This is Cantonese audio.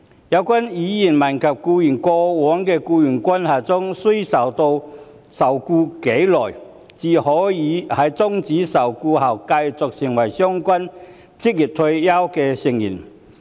有關委員問及僱員在過往的僱傭關係中須受僱多久，才可以在終止受僱後繼續作為相關職業退休計劃的成員。